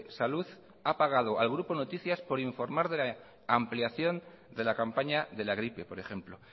salud ha pagado al grupo noticias por informar de la ampliación de la campaña de la gripe por ejemplo